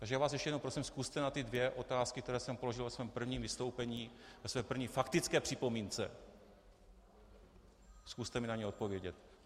Takže já vás ještě jednou prosím, zkuste na ty dvě otázky, které jsem položil ve svém prvním vystoupení, ve své první faktické připomínce, zkuste mi na ně odpovědět.